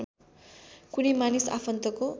कुनै मानिस आफन्तको